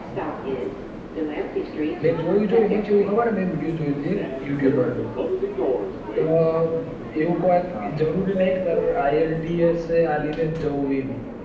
મેં જોયું તો એમાં કેવું ખબર કે મેં video જોયો હતો એક youtuber નું તો. એમાં કાઈ જરૂરી નથી તારે ielts આપી ને જ જવું.